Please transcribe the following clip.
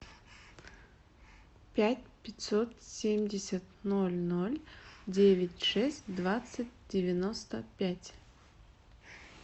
пять пятьсот семьдесят ноль ноль девять шесть двадцать девяносто пять